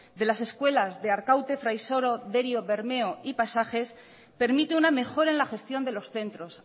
de las escuelas de arkaute fraisoro derio bermeo y pasajes permite una mejora en la gestión de los centros